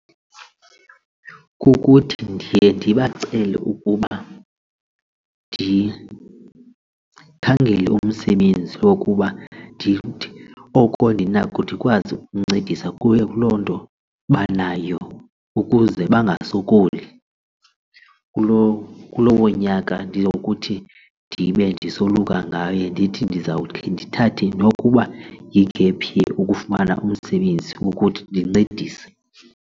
Kukuthi ndiye ndibacele ukuba ndikhangele umsebenzi wokuba ndithi oko ndinako ndikwazi ukuncedisa kuwe kuloo nto banayo ukuze bangasokoli kuloo kulowo nyaka ndizokuthi ndibe ndisoluka ngayo ndithi ndizawukhe ndithathe nokuba yi-gap year ukufumana umsebenzi wokuthi ndincedise.